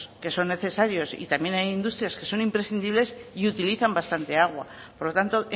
que son necesarios y también hay industrias que son imprescindibles y utilizan bastante agua por lo tanto